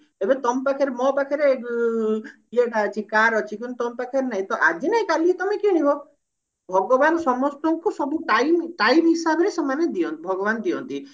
ଏବେ ତମ ପାଖରେ ମୋ ପାଖରେ ଉଁ car ଅଛି କିନ୍ତୁ ତମ ପାଖରେ ନାହିଁ ତ ଆଜି ନାହିଁ କାଲି ତମେ କିଣିବ ଭଗବାନ ସମସ୍ତଙ୍କୁ ସବୁ time time ହିସାବ ରେ ସେମାନେ ଦିଅନ୍ତି ଭଗବାନ ଦିଅନ୍ତି